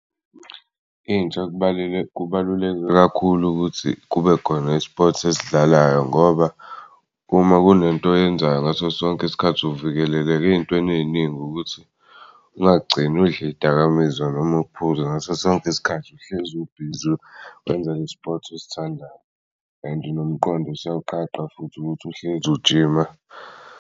Intsha kubaluleke kakhulu ukuthi kubekhona i-sports esidlalayo ngoba uma kunento oyenzayo ngaso sonke isikhathi uvikeleka ey'ntweni ey'ningi ukuthi ungagcini udl'iy'dakamizwa noma ukuphuza. Ngasosonke isikhathi uhlezi ubhizi wenza le-sport osithandayo, and nomqondo siyawuqaqa futhi ukuthi uhlezi ujima.